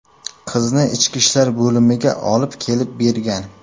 qizni ichki ishlar bo‘limiga olib kelib bergan.